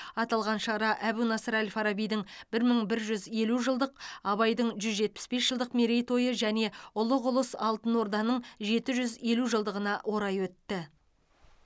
аталған шара әбу насыр әл фарабидің бір мың бір жүз елу жылдық абайдың жүз жетпіс бес жылдық мерейтойы және ұлық ұлыс алтын орданың жеті жүз елу жылдығына орай өтті